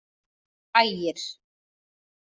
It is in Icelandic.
Ægir